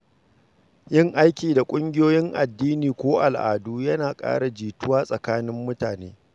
Yin aiki da ƙungiyoyin addini ko al’adu yana ƙara jituwa tsakanin mutane.